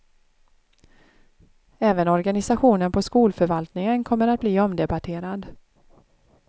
Även organisationen på skolförvaltningen kommer att bli omdebatterad.